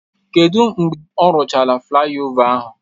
Kedu mgbe ọ rụchara flaịova ahụ?